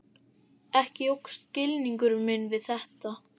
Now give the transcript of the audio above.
Ekki jókst skilningur minn við þetta.